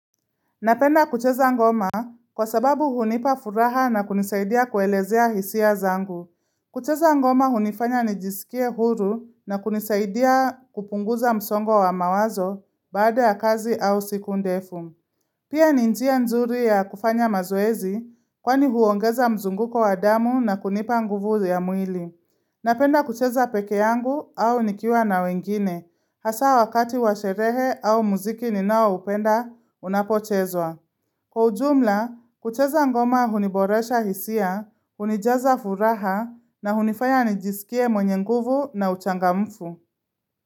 Napenda kucheza ngoma kwa sababu hunipa furaha na kunisaidia kuelezea hisia zangu. Kucheza ngoma hunifanya nijisikie huru na kunisaidia kupunguza msongo wa mawazo baada ya kazi au siku ndefu. Pia ninjia nzuri ya kufanya mazoezi kwa ni huongeza mzunguko wa damu na kunipa nguvu ya mwili. Napenda kucheza peke yangu au nikiwa na wengine, hasa wakati washerehe au muziki ninao upenda, unapochezwa. Kwa ujumla, kucheza ngoma huniboresha hisia, hunijaza furaha, na hunifaya nijisikie mwenye nguvu na uchangamfu.